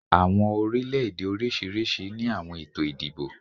Awọn orilẹ-ede oriṣiriṣi ni awọn eto idibo